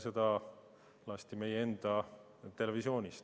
Seda lasti meie enda televisioonis.